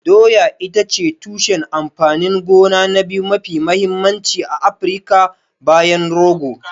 Doya ita ce tushen amfanin gona na biyu mafi mahimmanci a Afirka bayan rogo.